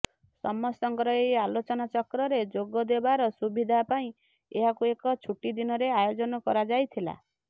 ସମସ୍ତଙ୍କର ଏହି ଆଲୋଚନା ଚକ୍ରରେ ଯୋଗଦେବାର ସୁବିଧା ପାଇଁ ଏହାକୁ ଏକ ଛୁଟିଦିନରେ ଆୟୋଜନ କରାଯାଇଥିଲା